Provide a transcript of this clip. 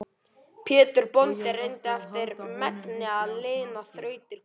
Pétur bóndi reyndi eftir megni að lina þrautir konu sinnar.